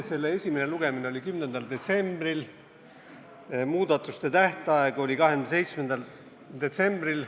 Esimene lugemine oli 10. detsembril, muudatusettepanekute tähtaeg oli 27. detsembril.